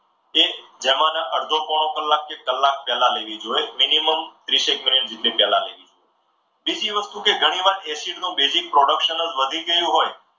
એ જમવાના અડધો પોણો કલાક કે કલાક પહેલા લેવી જોઈએ મિનિમમ ત્રીસ એક મિનિટ પહેલા લેવી જોઈએ. બીજી વસ્તુ કે ઘણીવાર acid નું basic production જે વધી ગયું હોય.